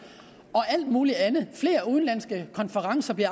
og alt muligt andet og flere udenlandske konferencer i